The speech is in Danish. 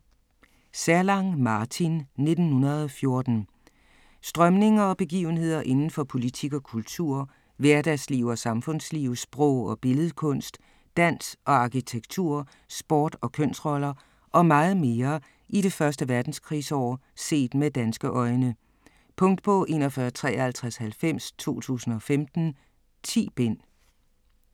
Zerlang, Martin: 1914 Strømninger og begivenheder inden for politik og kultur, hverdagsliv og samfundsliv, sprog og billedkunst, dans og arkitektur, sport og kønsroller og meget mere i det første verdenskrigsår set med danske øjne. Punktbog 415390 2015. 10 bind.